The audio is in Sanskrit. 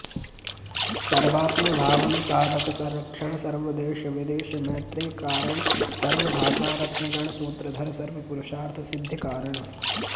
सर्वात्मभावन साधकसंरक्षण सर्वदेश विदेश मैत्रिकारण सर्वभाषा रत्नगण सूत्रधर सर्व पुरुषार्थ सिद्धिकारण